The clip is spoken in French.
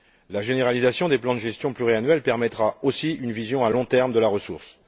La généralisation des plans de gestion pluriannuels permettra aussi une vision à long terme de la ressource.